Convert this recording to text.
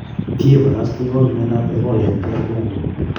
kiiparastewok miandop epoola en Dr kongo